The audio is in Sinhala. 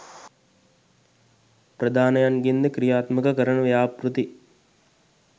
ප්‍රදානයන්ගෙන්ද ක්‍රියාත්මක කරන ව්‍යාපෘති